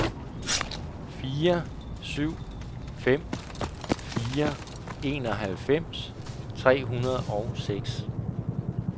fire syv fem fire enoghalvfems tre hundrede og seks